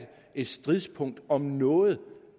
et stridspunkt om noget